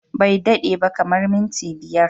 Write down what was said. Bai dade ba, kamar minti biyar.